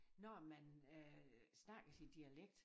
Når man øh snakker sit dialekt